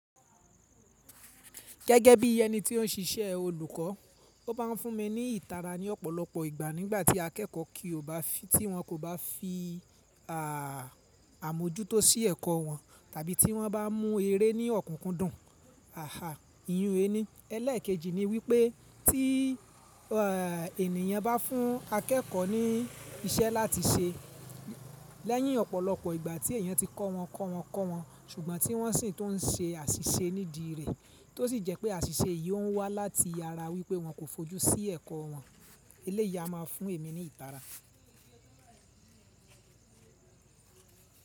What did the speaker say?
Gẹ́gẹ́ bí ẹni tí ó ń ṣiṣẹ́ olùkọ́, ó máa ń fún mi ní ìtara ní ọ̀pọ̀lọpọ̀ ìgbà nígbàtí akẹ́kọ̀ọ́ kí ó bá fi tí wọ́n kò bá fi àmójútó sí ẹ̀kọ́ wọn tàbí tí wọ́n bá mú eré ní ọ̀kúkú dùn. Aha, iyùn ẹni. Ẹlẹ́ẹ̀kejì ni wípé tí ènìyàn bá fún akẹ́kọ̀ọ́ ní iṣẹ́ láti ṣe lẹ́yìn ọ̀pọ̀lọpọ̀ ìgbà tí èèyàn ti kọ́ wọn, kọ́ wọn, kọ́ wọn ṣùgbọ́n tí wọ́n sì ń tó ń ṣe àṣìṣe nídìí rẹ̀, tó sì jẹ́ pé àṣìṣe yìí ó ń wá láti ara wípé wọn kò fojú sí ẹ̀kọ́ wọn. Eléyi á máa fún èmi ní ìtara.